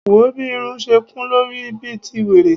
Wòó bí irun ṣe kún lórí ẹ bí ti wèrè.